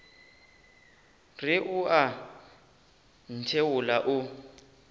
re o a ntheola o